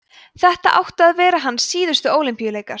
þetta áttu að vera hans síðustu ólympíuleikar